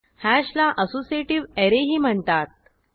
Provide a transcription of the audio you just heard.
हॅशला associative ऍरेही म्हणतात